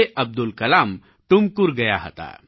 અબ્દુલ કલામ ટુમકુર ગયા હતા